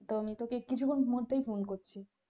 তো আমি তোকে কিছুক্ষণের মধ্যেই phone করছি।